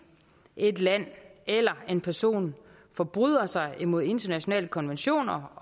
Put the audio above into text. et land eller en person forbryder sig mod internationale konventioner